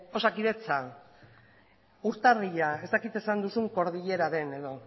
osakidetza urtarrila ez dakit esan duzun kordilera den edo